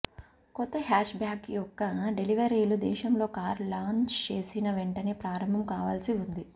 కొత్త hatchback యొక్క డెలివరీలు దేశంలో కారు లాంచ్ చేసిన వెంటనే ప్రారంభం కావాల్సి ఉంది